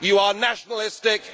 You are nationalistic